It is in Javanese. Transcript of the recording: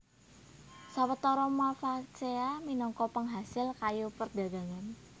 Sawetara Malvaceae minangka pengasil kayu perdagangan